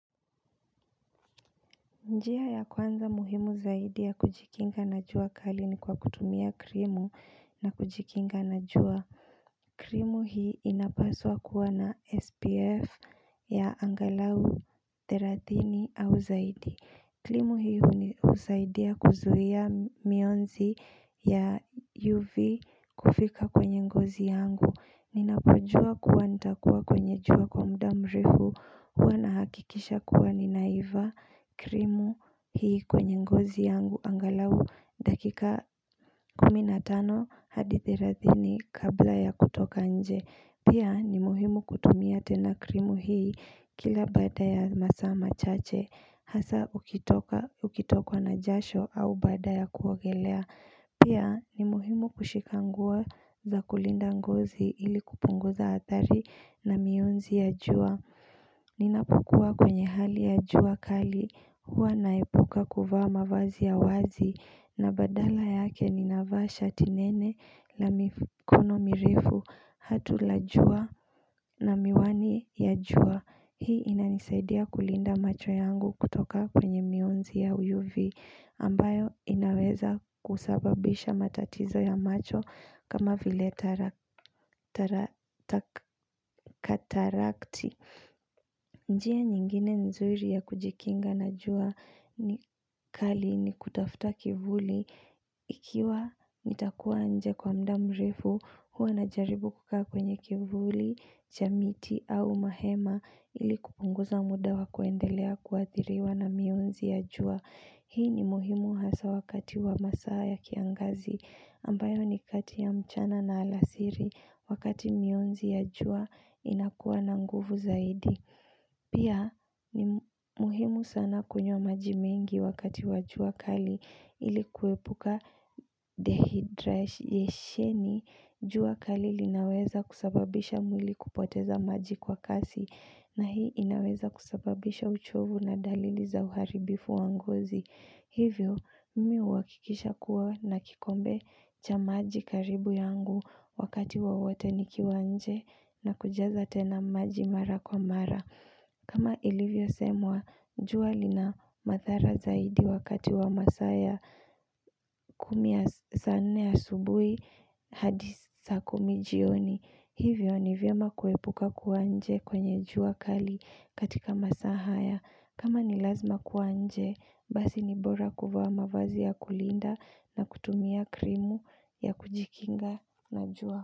Njia ya kwanza muhimu zaidi ya kujikinga na jua kali ni kwa kutumia krimu na kujikinga na jua krimu hii inapaswa kuwa na SPF ya angalau therathini au zaidi krimu hii husaidia kuzuia mionzi ya UV kufika kwenye ngozi yangu Ninapojua kuwa nitakuwa kwenye jua kwa muda mrefu huwa na hakikisha kuwa ninaiva krimu hii kwenye ngozi yangu Angalau dakika kumi na tano hadi therathini kabla ya kutoka nje Pia ni muhimu kutumia tena krimu hii kila bada ya masaa machache Hasa ukitoka ukitokwa na jasho au baada ya kuogelea Pia ni muhimu kushikanguo za kulinda ngozi ili kupunguza athari na mionzi ya jua Ninapokua kwenye hali ya jua kali hua naepuka kuvaa mazi ya wazi na badala yake ni nava shati nene na mikono mirefu hatu la jua na miwani ya jua Hii inanisaidia kulinda macho yangu kutoka kwenye mionzi ya UV ambayo inaweza kusababisha matatizo ya macho kama vile katarakti njia nyingine nzuri ya kujikinga na jua ni kali ni kutafuta kivuli ikiwa nitakuwa anje kwa mdamu rmefu huwa na jaribu kukaa kwenye kivuli, chamiti au mahema ili kupunguza muda wa kuendelea kuathiriwa na mionzi ya jua. Hii ni muhimu hasa wakati wa masaa ya kiangazi ambayo ni kati ya mchana na alasiri wakati mionzi ya jua inakuwa na nguvu zaidi. Pia ni muhimu sana kunywa maji mengi wakati wa jua kali ilikuepuka dehidra yeshieni jua kali linaweza kusababisha mwili kupoteza maji kwa kasi na hii inaweza kusababisha uchovu na dalili za uharibifu wa ngozi Hivyo mmi huhakikisha kuwa na kikombe cha maji karibu yangu wakati wawote nikiwanje na kujaza tena maji mara kwa mara kama ilivyo semwa, jua li na madhara zaidi wakati wa masaa ya kumi saan ne ya subuhi hadi saa kumi jioni Hivyo ni vyema kuepuka kuwa nje kwenye jua kali katika masaa haya kama ni lazima kuwa nje, basi ni bora kuvaa mavazi ya kulinda na kutumia krimu ya kujikinga na jua.